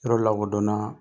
Yɔrɔ lakodɔnna